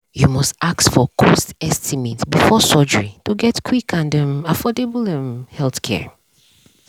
you must ask for cost estimate before surgery to get quick and um affordable um healthcare.